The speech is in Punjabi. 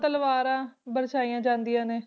ਤਲਵਾਰਾਂ ਬਰਛਾਈਆਂ ਜਾਂਦੀਆਂ ਨੇ।